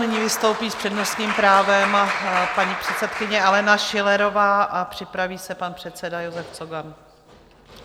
Nyní vystoupí s přednostním právem paní předsedkyně Alena Schillerová a připraví se pan předseda Josef Cogan.